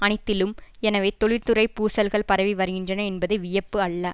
அனைத்திலும் எனவே தொழில்துறை பூசல்கள் பரவி வருகின்றன என்பது வியப்பு அல்ல